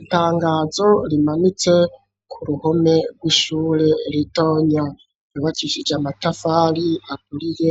Itangazo rimanitse ku ruhome rw'ishure ritonya ryubakishije amatafari aturiye